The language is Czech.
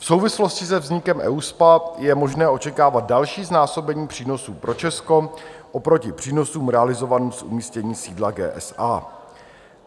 V souvislosti se vznikem EUSPA je možné očekávat další znásobení přínosů pro Česko oproti přínosům realizovaným z umístění sídla GSA.